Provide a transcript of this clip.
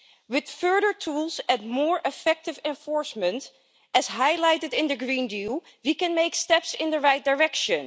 With further tools and more effective enforcement, as highlighted in the Green Deal, we can make steps in the right direction.